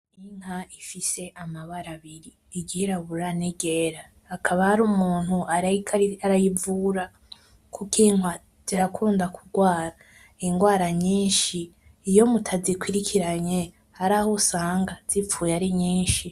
Iyi nka ifise amabara abiri, iryirabura n'iryera. Hakaba hariho umuntu ariko arayivura. Burya inka zirakunda kugwara ingwara nyinshi. Iyo mutazikurikiranye haraho usanga zipfuye ari nyinshi.